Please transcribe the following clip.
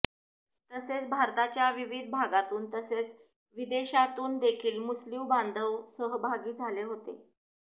तसेच भारताच्या विविध भागातून तसेच विदेशातून देखील मुस्लिम बांधव सहभागी झाले होते